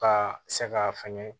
Ka se ka fɛngɛ